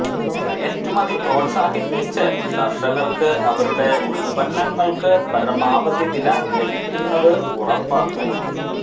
കയറ്റുമതി പ്രോത്സാഹിപ്പിച്ച് കര്ഷകര്ക്ക് അവരുടെ ഉല്പ്പന്നങ്ങള്ക്ക് പരമാവധി വില ലഭിക്കുന്നത് ഉറപ്പാക്കും